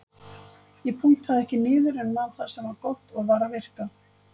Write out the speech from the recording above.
Ég punktaði ekki niður en man það sem var gott og var að virka.